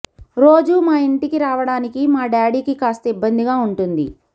రోజూ మా ఇంటికి రావడానికి మా డాడీకి కాస్త ఇబ్బందిగా ఉంటుంది